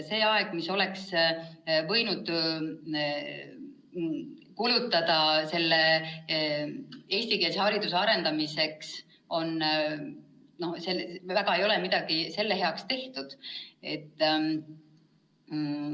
See aeg, mille oleks võinud kulutada eestikeelse hariduse arendamisele – selle ajaga ei ole eriti midagi hariduse heaks tehtud.